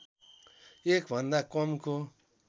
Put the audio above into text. १ भन्दा कमको